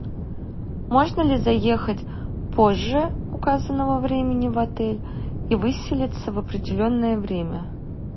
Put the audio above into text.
можно ли заехать позже указанного времени в отель и выселиться в определенное время